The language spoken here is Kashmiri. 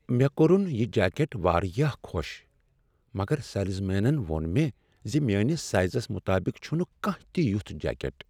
مےٚ کوٚرن یہ جیکٹ واریاہ خۄش مگر سیلزمینن ووٚن مےٚ ز میٲنس سایزس مطابق چھنہٕ کانٛہہ تہِ یتھ جیکٹ۔